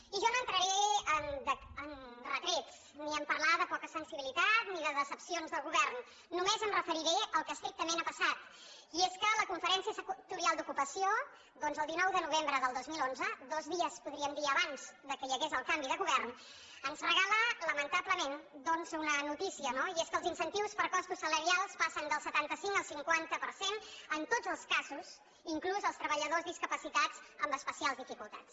i jo no entraré en retrets ni a parlar de poca sensibilitat ni de decepcions de govern només em referiré al que estrictament ha passat i és que la conferència sectorial d’ocupació doncs el dinou de novembre del dos mil onze dos dies podríem dir abans que hi hagués el canvi de govern ens regala lamentablement una notícia no i és que els incentius per a costos salarials passen del setanta cinc al cinquanta per cent en tots els casos inclús per als treballadors discapacitats amb especials dificultats